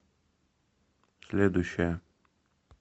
следующая